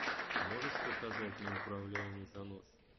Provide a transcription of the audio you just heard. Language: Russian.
можешь показать неуправляемый занос